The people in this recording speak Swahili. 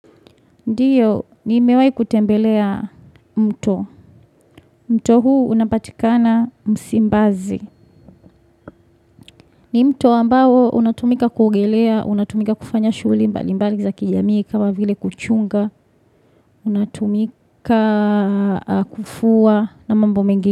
Ndiyo, ni mewai kutembelea mto. Mto huu unapatikana msimbazi. Ni mto ambao unatumika kuogelea, unatumika kufanya shugli mbali mbali za kijamii kama vile kuchunga. Unatumika kufua na mambo mengi.